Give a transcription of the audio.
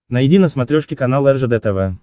найди на смотрешке канал ржд тв